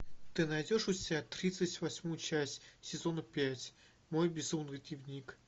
ты найдешь у себя тридцать восьмую часть сезона пять мой безумный дневник